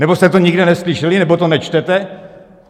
Nebo jste to nikde neslyšeli, nebo to nečtete?